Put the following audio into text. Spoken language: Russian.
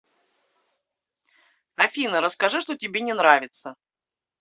афина расскажи что тебе не нравится